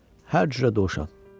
Hər cürə dovşan.